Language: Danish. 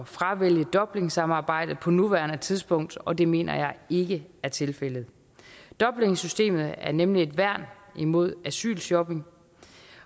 fravælge dublinsamarbejdet på nuværende tidspunkt og det mener jeg ikke er tilfældet dublinsystemet er nemlig et værn imod asylshopping